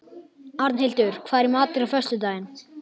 Arnhildur, hvað er í matinn á föstudaginn?